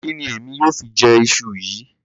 Kí ni èmi yóò fi jẹ iṣu yìí?